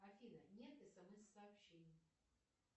афина нет смс сообщений